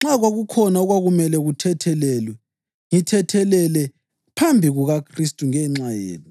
nxa kwakukhona okwakumele kuthethelelwe, ngithethelele phambi kukaKhristu ngenxa yenu,